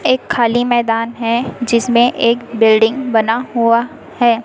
एक खाली मैदान है जिसमें एक बिल्डिंग बना हुआ है।